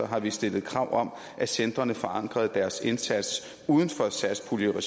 har vi stillet krav om at centrene forankrede deres indsats uden for satspuljeregi